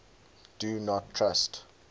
do not trust